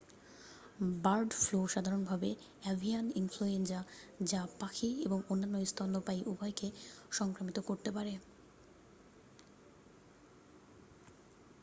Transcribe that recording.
bird flu সাধারণভাবে avian influenza যা পাখি এবং স্তন্যপায়ী উভয়কেই সংক্রামিত করতে পারে